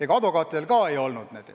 Ega advokaatidel ka ei olnud.